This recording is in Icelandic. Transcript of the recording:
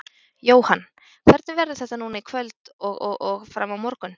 Jóhann: Hvernig verður þetta núna í kvöld og og og fram á morgun?